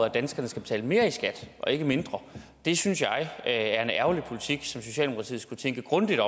at danskerne skal betale mere i skat og ikke mindre det synes jeg er en ærgerlig politik som socialdemokratiet skulle tænke grundigt